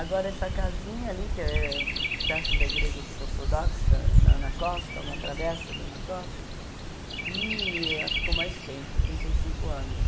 Agora, essa casinha ali, que é perto da igreja orto ortodoxa, na na costa, uma travessa da na costa, que ela ficou mais tempo, trinta e cinco anos.